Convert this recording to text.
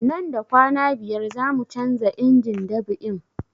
Nan da kwana biyar zamu canza injin dab'in